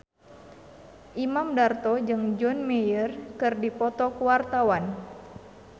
Imam Darto jeung John Mayer keur dipoto ku wartawan